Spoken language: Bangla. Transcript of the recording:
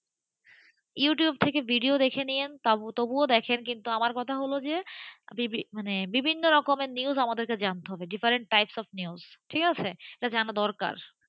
ইউটিউব থেকে ভিডিও দেখে নেন তবুও আমার কথা হল যে ভিন্ন ধরনের news আমাদের জানতে হবে different types of news ঠিক আছে? এটা জানা দরকার,